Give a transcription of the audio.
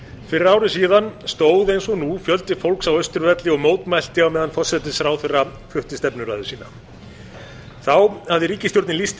fyrir ári síðan stóð eins og nú fjöldi fólks á austurvelli og mótmælti á meðan forsætisráðherra flutti stefnuræðu sína þá hafði ríkisstjórnin lýst því